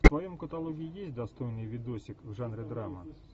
в твоем каталоге есть достойный видосик в жанре драма